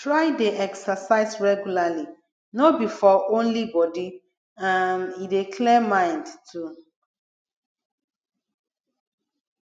try de exercise regularly no be for only body um e dey clear mind too